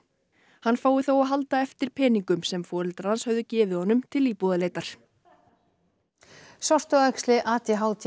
hann fái þó að halda eftir peningum sem foreldrar hans höfðu gefið honum til íbúðarleitar sortuæxli a d h d